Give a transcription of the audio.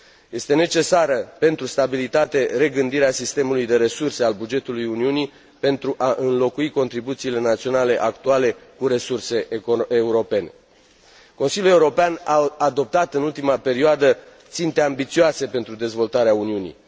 Este necesară, pentru stabilitate, regândirea sistemului de resurse al bugetului Uniunii pentru a înlocui contribuțiile naționale actuale cu resurse europene. Consiliul European a adoptat în ultima perioadă ținte ambițioase pentru dezvoltarea Uniunii.